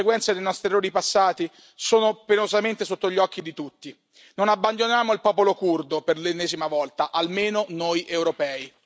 Cari colleghi, le conseguenze dei nostri errori passati sono penosamente sotto gli occhi di tutti. Non abbandoniamo il popolo curdo, per l'ennesima volta, almeno noi europei.